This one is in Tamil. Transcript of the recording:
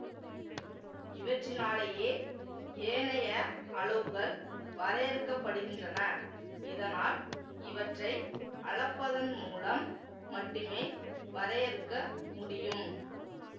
இவற்றினாலேயே ஏனைய அளவுகள் வரையறுக்கப்படுகின்றன இதனால் இவற்றை அளப்பதன்மூலம் மட்டுமே வரையறுக்க முடியும்